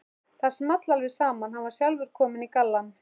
Það small alveg saman, hann var sjálfur kominn í gallann.